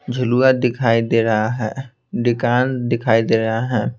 झुलुया दिखाई दे रहा है दिकान दिखाई दे रहा है।